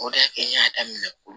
O de y'a kɛ n y'a daminɛ ko